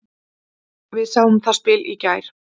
Við sáum það spil í gær.